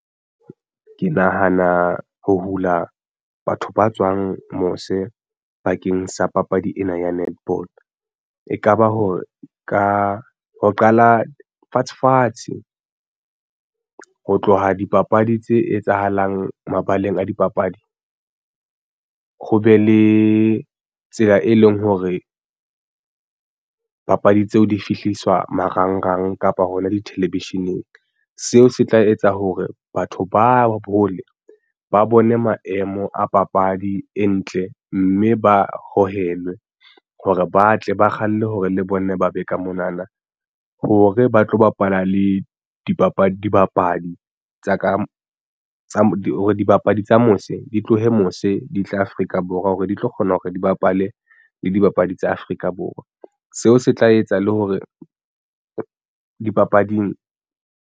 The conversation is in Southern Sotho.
Ke nahana ho hula batho ba tswang mose bakeng sa papadi ena ya netball e kaba hore ka ho qala fatshe fatshe ho tloha dipapadi tse etsahalang mabaleng a dipapadi ho be le tsela e leng hore papadi tseo di fihliswa marangrang kapa hona di-television-eng. Seo se tla etsa hore batho ba hole ba bone maemo a papadi e ntle, mme ba hohele hore ba tle ba kgalle hore le bona ba be ka mona na hore ba tlo bapala le dibapadi tsa ka tsa di hore dibapadi tsa mose di tlohe mose di tla Afrika Borwa hore di tlo kgona hore di bapale le dibapadi tsa Afrika Borwa. Seo se tla etsa le hore dipapading.